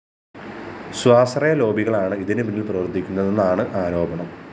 സ്വാശ്രയ ലോബികളാണ് ഇതിനു പിന്നില്‍ പ്രവര്‍ത്തിക്കുന്നതെന്നാണ് ആരോപണം